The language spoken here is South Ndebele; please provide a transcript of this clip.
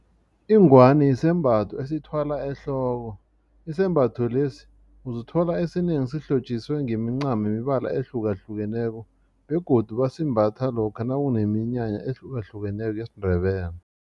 Ingwani sisembatho esithwalwa ehloko isembatho lesi uzithola esinengi sihlotjisiwe ngemincamo yemibala ehlukahlukeneko begodu basembatha lokha nakuneminyanya ehlukahlukeneko yesiNdebele.